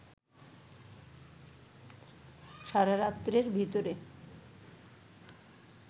সারা রাত্রের ভিতরে